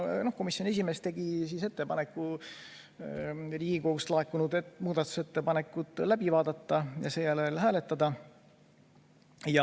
Komisjoni esimees tegi ettepaneku Riigikogust laekunud muudatusettepanekud läbi vaadata ja seejärel hääletada.